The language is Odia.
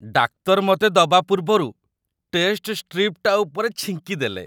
ଡାକ୍ତର ମତେ ଦବା ପୂର୍ବରୁ ଟେଷ୍ଟ ଷ୍ଟ୍ରିପ୍‌ଟା ଉପରେ ଛିଙ୍କିଦେଲେ ।